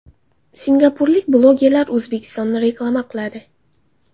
Singapurlik blogerlar O‘zbekistonni reklama qiladi.